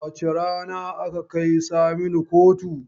Wace rana aka kai Saminu kotu?